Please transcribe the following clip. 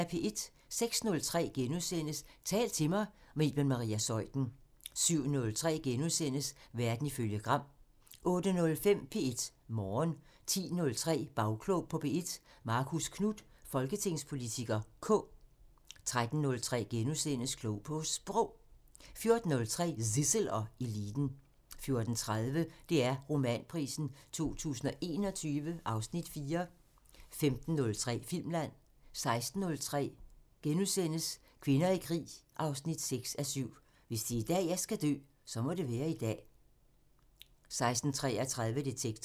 06:03: Tal til mig – med Iben Maria Zeuthen * 07:03: Verden ifølge Gram * 08:05: P1 Morgen 10:03: Bagklog på P1: Marcus Knuth, folketingspolitiker (K) 13:03: Klog på Sprog * 14:03: Zissel og Eliten 14:30: DR Romanprisen 2021 (Afs. 4) 15:03: Filmland 16:03: Kvinder i krig 6:7 – "Hvis det er i dag, jeg skal dø, så må det være i dag..." * 16:33: Detektor